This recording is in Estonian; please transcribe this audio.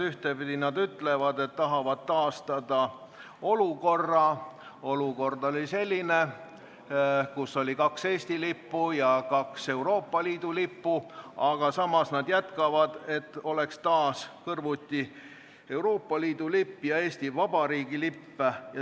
Ühtepidi nad ütlevad, et tahavad taastada olukorra, kus oli kaks Eesti lippu ja kaks Euroopa Liidu lippu, aga samas nad jätkavad, et oleks taas kõrvuti Euroopa Liidu lipp ja Eesti Vabariigi lipp.